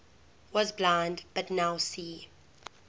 was blind but now see